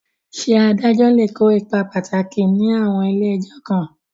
Ṣé adájọ́ lè kó ipa pàtàkì ní àwọn ilé ẹjọ́ kan?